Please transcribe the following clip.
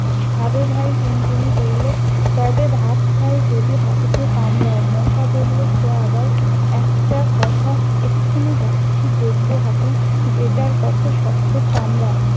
খাবে ভাই? টুনটুনি বললে- তবে ভাত খাই যদি হাতিকে কামরাও। মশা বললে- সে আবার একটা কথা এক্ষুনি যাচ্ছি। দেখব হাতি বেটার কত্ত শক্ত চামড়া।